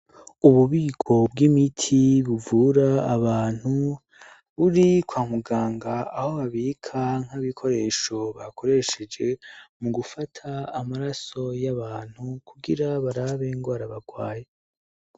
Ububiko bw'imiti buvura abantu buri kwamuganga aho habikanke bikoresho bakoresheje mu gufata amaraso y'abantu kugira barabe ngo arabagwaye.